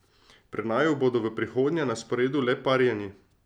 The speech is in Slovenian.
Pri naju bodo v prihodnje na sporedu le parjeni.